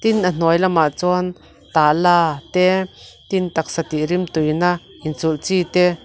tin a hnuai lamah chuan tala te tin taksa tih rimtuina in chulh chi te.